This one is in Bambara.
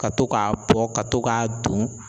Ka to k'a bɔ ka to k'a don